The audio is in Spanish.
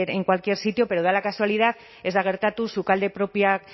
en cualquier sitio pero da la casualidad ez da gertatu sukalde propioak